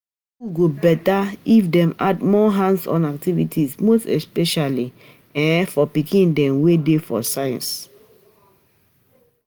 School go beta, if dem add more hands-on activities most especially um for pikin dem wey dey for sciences